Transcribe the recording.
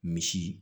Misi